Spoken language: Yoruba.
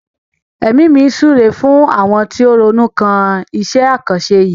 Èmi mi súre fún àwọn tó ronú kan iṣẹ́ àkànṣe yìí.